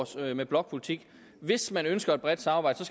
med blokpolitik hvis man ønsker et bredt samarbejde